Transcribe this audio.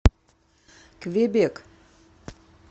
квебек